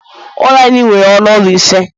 Ụlọ anyị nwere ọnụ ụlọ ise